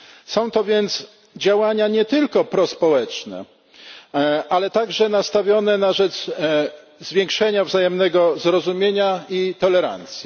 Są to więc działania nie tylko prospołeczne, ale także nastawione na rzecz zwiększenia wzajemnego zrozumienia i tolerancji.